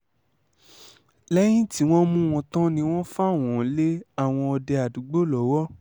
lẹ́yìn tí wọ́n mú wọn tán ni wọ́n fà wọ́n lé àwọn òde àdúùgbò lọ́wọ́